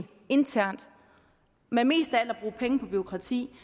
internt men mest af alt at bruge penge på bureaukrati